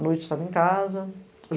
À noite eu estava em casa.